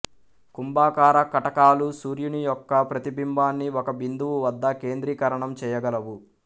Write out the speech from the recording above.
కుంభాకార కటకాలు సూర్యుని యొక్క ప్రతిబింబాన్ని ఒక బిందువు వద్ద కేంద్రీకరణం చేయగలవు